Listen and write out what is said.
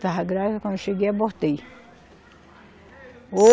Estava grávida, quando eu cheguei, abortei.